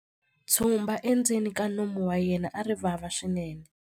Tshumba endzeni ka nomu wa yena a ri vava swinene.